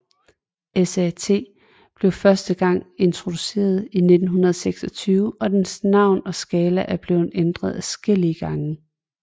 SAT blev første gang introduceret i 1926 og dens navn og skala er blevet ændret adskillige gange